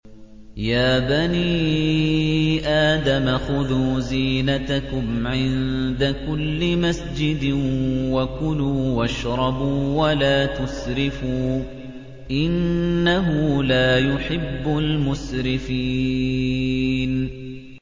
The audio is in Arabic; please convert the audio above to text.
۞ يَا بَنِي آدَمَ خُذُوا زِينَتَكُمْ عِندَ كُلِّ مَسْجِدٍ وَكُلُوا وَاشْرَبُوا وَلَا تُسْرِفُوا ۚ إِنَّهُ لَا يُحِبُّ الْمُسْرِفِينَ